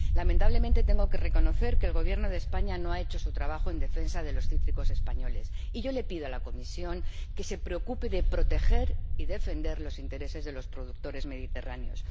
Lamentablemente, tengo que reconocer que el Gobierno de España no ha hecho su trabajo en defensa de los cítricos españoles, y yo le pido a la Comisión que se preocupe de proteger y defender los intereses de los productores mediterráneos.